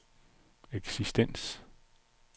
eksistens